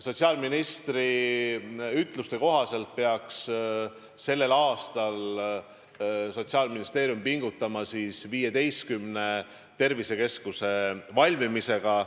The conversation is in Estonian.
Sotsiaalministri ütluste kohaselt peaks sellel aastal Sotsiaalministeerium pingutama 15 tervisekeskuse valmimisega.